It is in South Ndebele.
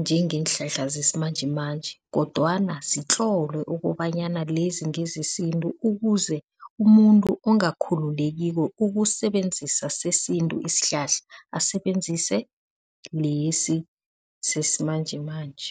njengeenhlahla zesimanjemanje, kodwana zitlolwe ukobanyana lezi ngezesintu ukuze umuntu ongakhululekiko ukusebenzisa sesintu isihlahla asebenzise lesi sesimanjemanje.